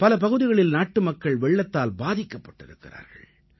பல பகுதிகளில் நாட்டு மக்கள் வெள்ளத்தால் பாதிக்கப்பட்டிருக்கிறார்கள்